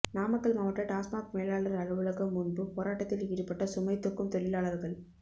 நாமக்கல் மாவட்ட டாஸ்மாக் மேலாளர் அலுவலகம் முன்பு போராட்டத்தில் ஈடுபட்ட சுமை தூக்கும் தொழிலாளர்கள்